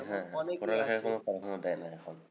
হ্যাঁ হ্যাঁ, প দেয় না এখন।